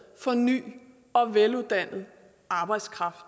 for ny og veluddannet arbejdskraft og